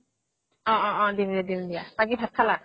অ অ অ দিম দিয়া দিম দিয়া বাকি ভাত খালা